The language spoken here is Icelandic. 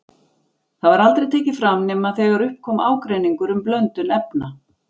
Það var aldrei tekið fram nema þegar upp kom ágreiningur um blöndun efna.